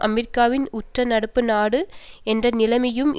அமெரிக்காவின் உற்ற நட்பு நாடு என்ற நிலையையும்